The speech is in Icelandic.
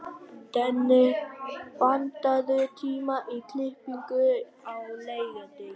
Denni, pantaðu tíma í klippingu á laugardaginn.